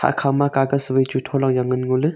ikhama kagas vai chu thola jao ngan ngoley.